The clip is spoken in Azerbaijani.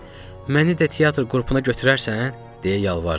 Məni də teatr qrupuna götürərsən?